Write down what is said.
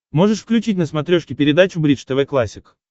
можешь включить на смотрешке передачу бридж тв классик